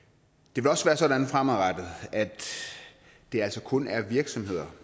det vil også være sådan fremadrettet at det altså kun er virksomheder